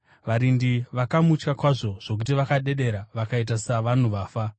Varindi vakamutya kwazvo zvokuti vakadedera vakaita savanhu vafa.